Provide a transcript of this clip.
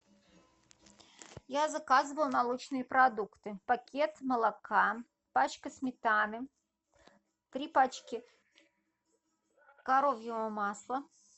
я заказываю молочные продукты пакет молока пачка сметаны три пачки коровьего масла